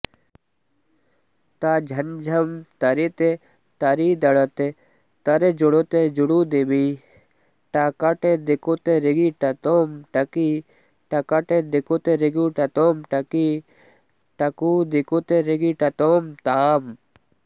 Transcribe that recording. त झंझं तरित तरिदणत तरजुणुत जुणुदिमि टकटदिकुतरिगिटतों टकि टकटदिकुतरिगिटतों टकि टकुदिकुतरिगिटतों तां